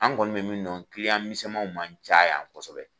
An kɔni bɛ min don kili yan misɛnmanw man cayan kosɛbɛ.